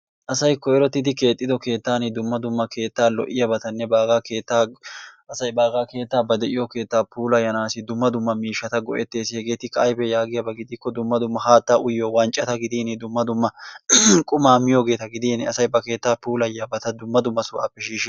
asay koyrottidi keexxido keettan dumma dumma lo''iyaabatanne baaaga keettaa, asay baaga keettaa, ba de'iyo keetta puulayyanassi dumma dumma miishshata go''etees hegeetikka aybba giyaaba gidikko dumma dumma haatta uyyiyo wanccata gidin dumma dumma qumaa miyoogeeta gidin asay ba keettaa puulayiyyabata dumma dumma sohuwappe shiishshe ...